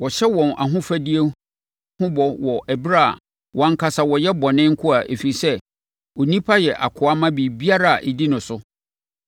Wɔhyɛ wɔn ahofadie ho bɔ wɔ ɛberɛ a wɔn ankasa wɔyɛ bɔne nkoa ɛfiri sɛ, onipa yɛ akoa ma biribiara a ɛdi no so.